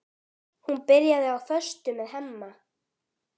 Hún byrjaði á föstu með Hemma.